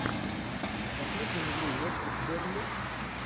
посмотрим игру уотфорд с бернли